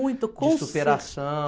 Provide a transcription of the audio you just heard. Muito, com. De superação